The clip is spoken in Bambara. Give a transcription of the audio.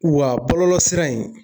K'u ka bɔlɔlɔsira in